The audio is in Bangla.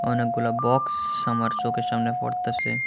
অনেকগুলা বক্স আমার চোখের সামনে পড়তাছে।